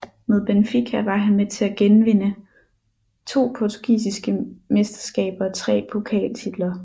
Med Benfica var han med til at vinde to portugisiske mesteskaber og tre pokaltitler